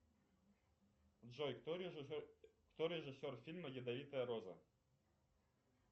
джой кто режиссер фильма ядовитая роза